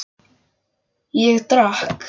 Ég drakk.